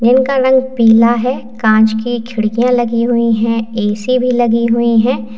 Building का रंग पीला है कांच की खिड़कियां लगी हुई है ऐ_सी भी लगी हुई है।